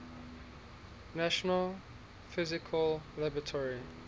national physical laboratory